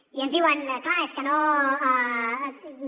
i ens diuen clar és que no